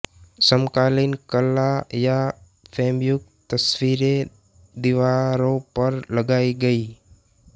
समकालीन कला या फ़्रेमयुक्त तस्वीरें दीवारों पर लगाई गयीं